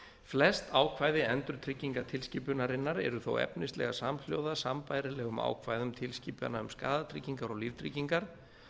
flest ákvæði endurtryggingatilskipunarinnar eru þó efnislega samhljóða sambærilegum ákvæðum tilskipana um skaðatryggingar og líftryggingar